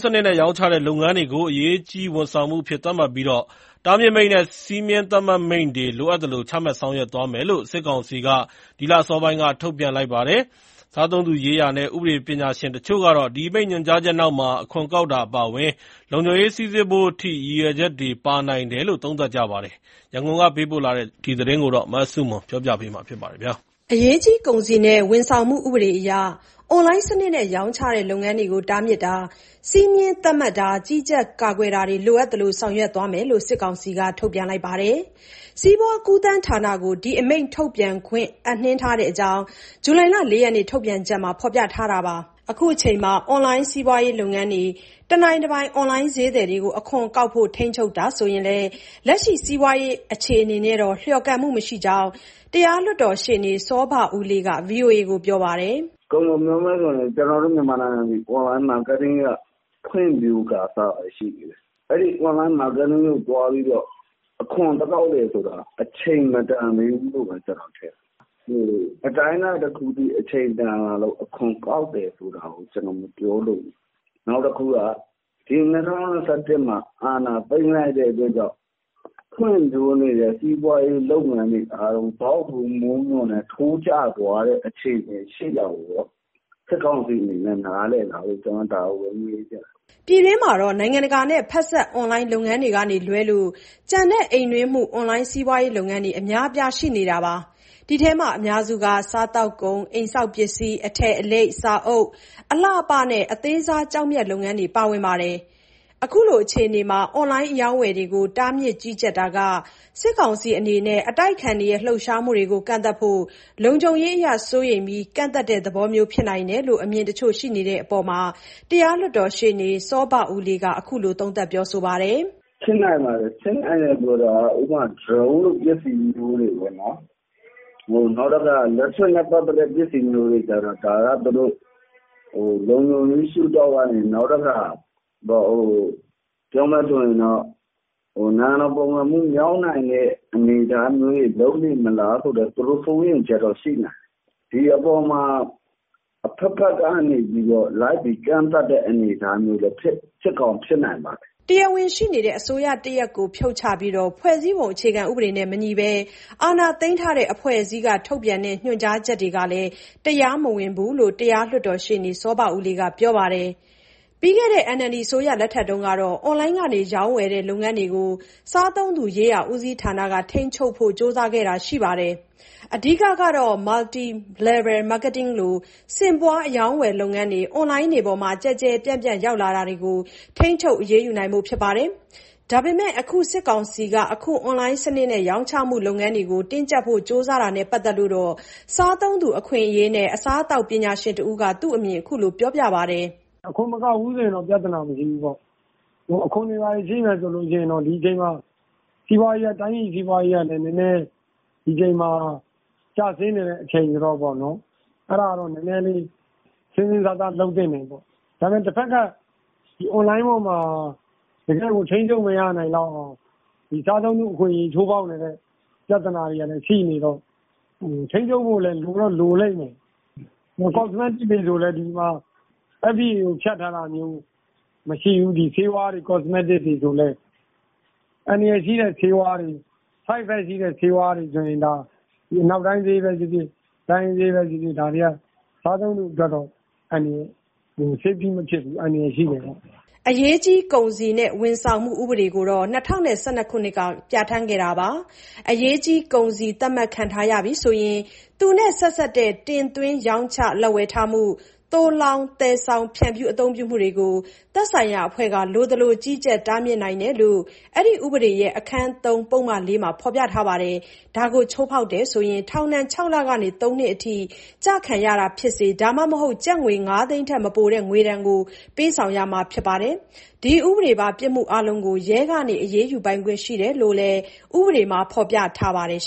စနစ်နဲ့ ရောင်းချတဲ့ လုပ်ငန်းတွေကို အရေးကြီး ဝန်ဆောင်မှုအဖြစ် သတ်မှတ်ပြီး တားမြစ်မိန့်နဲ့ စည်းမျဉ်းသတ်မှတ်မိန့်တွေ လိုအပ်သလို ချမှတ်ဆောင်ရွက်သွားမယ်လို့ စစ်ကောင်စီက ဒီလ အစောပိုင်းက ထုတ်ပြန်လိုက်ပါတယ်။ စားသုံးသူရေးရာနဲ့ ဥပဒေ ပညာရှင်တချို့ကတော့ ဒီအမိန့် ညွှန်ကြားချက်နောက်မှာ အခွန်ကောက်တာ အပါအဝင် လုံခြုံရေး စိစစ်ဖို့အထိ ရည်ရွယ်ချက်တွေ ပါနိုင်တယ်လို့ သုံးသပ်ကြပါတယ်။ ရန်ကုန်ကပေးပို့တဲ့ ဒီသတင်းကို မဆုမွန်က တင်ပြပေးပါမယ်။ အရေးကြီး ကုန်စည်နဲ့ ဝန်ဆောင်မှု ဥပဒေအရ အွန်လိုင်းစနစ်နဲ့ ရောင်းချတဲ့ လုပ်ငန်းတွေကို တားမြစ်တာ၊ စည်းမျဉ်းသတ်မှတ်တာ၊ ကြီးကြပ်တာ၊ ကာကွယ်တာတွေကို လိုအပ်သလို ဆောင်ရွက်သွားမယ်လို့ စစ်ကောင်စီက ထုတ်ပြန်လိုက်တာပါ။ စီးပွားကူးသန်းဌာနကို ဒီအမိန့် ထုတ်ပြန်ခွင့် အပ်နှင်းထားတဲ့အကြောင်း ဇူလိုင်လ ၄ ရက်နေ့ ထုတ်ပြန်ချက်မှာ ဖော်ပြထားပါတယ်။ အခုအချိန်မှာ အွန်လိုင်းစီးပွားရေး လုပ်ငန်းတွေ၊ တနိုင်တပိုင် အွန်လိုင်း ဈေးသည်တွေကို အခွန်ကောက်ဖို့ ထိန်းချုပ်တာဆိုရင်လည်း လက်ရှိစီးပွားရေး အခြေအနေနဲ့တော့ လျော်ကန်မှုမရှိဘူးလို့ တရားလွှတ်တော်ရှေ့နေ စောဘဦးလေးက ဗွီအိုအေကို ပြောပါတယ်။ "ကုန်ကုန်ပြောမယ်ဆိုရင် ကျနော်တို့ မြန်မာနိုင်ငံသည် အွန်လိုင်းမားကတ်တင်းက ဖွံ့ဖြိုးကာစပဲ ရှိသေးတယ်။ အဲဒီအွန်လိုင်း မားကတ်တင်းကိုသွားပြီးတော့ အခွန်သွားကောက်တယ်ဆိုတာ အချိန်မတန်သေးဘူးလို့ပဲ ထင်တယ်။ အတိုင်းအတာတခုအထိ အချိန်တန်လာလို့ အခွန်ကောက်တာ မပြောလိုဘူး။ နောက်တခုက ဒီ၂၀၂၁မှာ အာဏာသိမ်းလိုက်တဲ့ အတွက်ကြောင့် ဖွံ့ဖြိုးနေတဲ့ စီးပွားရေး လုပ်ငန်းတွေအားလုံး ဇောက်ထိုးမိုးမျှော်နဲ့ ထိုးကျသွားတဲ့ အခြေအနေရှိတာကို စစ်ကောင်စီအနေနဲ့ နားလည်လားလို့ ကျနော်မေးချင်တယ်။" ပြည်တွင်းမှာတော့ နိုင်ငံတကာနဲ့ဖက်စပ် အွန်လိုင်း လုပ်ငန်းတွေကလွဲလို့ ကျန်တဲ့ အိမ်တွင်းမှု အွန်လိုင်းစီးပွားရေး လုပ်ငန်းတွေ အများအပြား ရှိနေပါတယ်။ ဒီထဲမှာ အများစုက စားသောက်ကုန်၊ အိမ်ဆောက်ပစ္စည်း၊ အထည်အလိပ်၊ စာအုပ်၊ အလှအပနဲ့ အသေးစား ကျောက်မျက် လုပ်ငန်းတွေ ပါဝင်ကြပါတယ်။ အခုလို အခြေအနေမှာ အွန်လိုင်း အရောင်းအဝယ်တွေကို တားမြစ်၊ ကြီးကြပ်တာဟာ စစ်ကောင်စီ အနေနဲ့ အတိုက်အခံတွေ လှုပ်ရှားမှုတွေကို ကန့်သတ်ဖို့၊ လုံခြုံရေးအရ စိုးရိမ်ပြီး ကန့်သတ်တဲ့သဘောမျိုးလည်း ဖြစ်နိုင်တယ်လို့ အမြင်တချို့ ရှိတဲ့အပေါ်မှာ တရားလွှတ်တော်ရှေ့နေ စောဘဦးလေးက အခုလို သုံးသပ်ပြောဆိုပါတယ်။ " ဖြစ်နိုင်ပါတယ်၊ ဖြစ်နိုင်တယ်ဆိုတာက ဥပမာ ဒရုန်းလိုပစ္စည်းမျိုးတွေ၊ နောက် electric နဲ့ပတ်သက်တဲ့ ပစ္စည်းမျိုးတွေကြ ဒါက သူတို့ လုံခြုံရေးရှုထောင့်ကနေ၊ နိုင်ငံတော်ပုန်ကန်မှု မြောက်နိုင်တဲ့ အနေအထားတွေ လုပ်နေမလားဆိုတဲ့ သူတို့စိုးရိမ်ချက်တော့ ရှိနိုင်တယ်။ ဒီအပေါ်မှာ အဘက်ဘက်ကနေ လိုက်ပြီး ကန့်သတ်တဲ့ အနေအထားမျိုး ဖြစ်ကောင်း ဖြစ်နိုင်တယ်။" တရားဝင်ရှိနေတဲ့ အစိုးရတရပ်ကို ဖြုတ်ချပြီး ဖွဲ့စည်းပုံဥပဒေနဲ့မညီဘဲ အာဏာသိမ်းထားတဲ့ အဖွဲ့အစည်းက ထုတ်ပြန်တဲ့ ညွှန်ကြားချက်တွေဟာ တရားမဝင်ဘူးလို့လည်း တရားလွှတ်တော် ရှေ့နေ စောဘဦးလေးက ပြောပါတယ်။ ပြီးခဲ့တဲ့ NLD အစိုးရလက်ထက်မှာတော့ အွန်လိုင်းက ရောင်းဝယ်တဲ့ လုပ်ငန်းတွေကို စားသုံးသူရေးရာ ဦးစီးဌာနက ထိန်းချုပ်ဖို့ ကြိုးစားခဲ့တာ ရှိပါတယ်။ အဓိကကတော့ Multi Level Marketing လို ဆင့်ပွားအရောင်းအဝယ်လုပ်ငန်းတွေ အွန်လိုင်းပေါ်မှာ ကျယ်ကျယ်ပြန့်ပြန့် ရောက်လာတွေကို ထိန်းချုပ်အရေးယူနိုင်ဖို့ ဖြစ်ပါတယ်။ ဒါပေမဲ့ အခု စစ်ကောင်စီက အခု အွန်လိုင်း စနစ်နဲ့ ရောင်းချမှု လုပ်ငန်းတွေကို တင်းကျပ်ဖို့ ကြိုးစားတာနဲ့ပတ်သက်လို့တော့ စားသုံးသူ အခွင့်အရေးနဲ့ အစားအသောက်ပညာရှင်တဦးက သူ့အမြင်ကို အခုလို ပြောပြပါတယ်။ "အခွန်မကောက်ဘူးဆို ပြဿနာမရှိဘူး၊ အခွန်တွေဘာတွေ ရှိမယ်ဆိုရင် ဒီအချိန်မှာ တိုင်းပြည်စီးပွားရေးကလည်း နည်းနည်း ကျဆင်းနေတဲ့ အချိန်ဆိုတော့ အဲဒါတော့ စဉ်းစဉ်းစားစား လုပ်သင့်တယ်ပေါ့။ အွန်လိုင်းမှာ တကယ် ထိန်းချုပ်လို့မရအောင် စားသုံးသူအခွင့်အရေး ချိုးဖောက်နေတဲ့ ပြဿနာတွေကလည်း ရှိနေတော့ ထိန်းချုပ်ဖို့လည်း လိုတော့လိုလိမ့်မယ်။ cosmetics တွေဆိုလည်း FDA ကိုဖြတ်ထားတာ မရှိဘူး ဆေးဝါးတွေ cosmetics တွေ။ အန္တရာယ်ရှိတဲ့ ဆေးဝါးတွေ side effect ရှိတဲ့ဆေးဝါးတွေ အနောက်တိုင်းပဲဖြစ်ဖြစ် တိုင်းရင်းဆေးပဲဖြစ်ဖြစ် စားသုံးသူအတွက် အန္တရာယ်ရှိတယ်။" အရေးကြီး ကုန်စည်နဲ့ ဝန်ဆောင်မှု ဥပေဒကိုတော့ ၂၀၁၂ မှာ ပြဋ္ဌာန်းခဲ့တာပါ။ အရေးကြီး ကုန်စည် သတ်မှတ်ခံထားရပြီ ဆိုရင် သူနဲ့ဆက်စပ်တဲ့ တင်သွင်း၊ ရောင်းချ၊ လက်ဝယ်ထားမှု၊ သိုလှောင်၊ သယ်ဆောင်၊ ဖြန့်ဖြူး အသုံးပြုမှုတွေကို သက်ဆိုင်ရာအဖွဲ့က လိုသလို ကြီးကြပ်၊ တားမြစ်နိုင်တယ် လို့ ဒီဥပဒေရဲ့ အခန်း(၃) ပုဒ်မ(၄)မှာ ဖော်ပြထားပါတယ်။ ဒါကိုချိုးဖောက်တယ်ဆိုရင် ထောင်ဒဏ် ၆ လကနေ ၃ နှစ်အထိ ကျခံရတာဖြစ်စေ ဒါမှမဟုတ် ကျပ်ငွေ ၅ သိန်းထက် မပိုတဲ့ ငွေဒဏ်ကို ပေးဆောင်ရမှာ ဖြစ်ပါတယ်။ ဒီဥပဒေပါ ပြစ်မှုအားလုံးကို ရဲက အရေးယူပိုင်ခွင့် ရှိတယ်လို့လည်း ဥပဒေမှာ ဖော်ပြထားပါတယ်